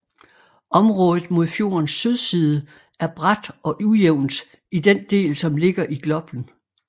Området mod fjordens sydside er brat og ujævnt i den del som ligger i Gloppen